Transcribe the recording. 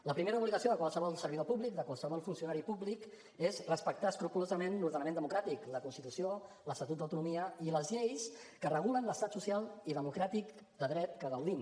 la primera obligació de qualsevol servidor públic de qualsevol funcionari públic és respectar escrupolosament l’ordenament democràtic la constitució l’estatut d’autonomia i les lleis que regulen l’estat social i democràtic de dret de què gaudim